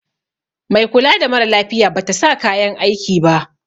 Mai kula da mara lafiya Bata sa kayan aiki ba.